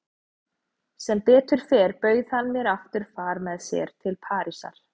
Sem betur fer bauð hann mér aftur far með sér til Parísar.